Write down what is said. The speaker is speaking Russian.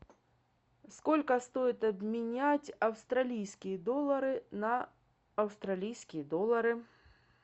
сколько стоит обменять австралийские доллары на австралийские доллары